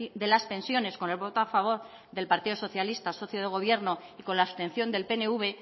de las pensiones con el voto a favor del partido socialista socio de gobierno y con la abstención del pnv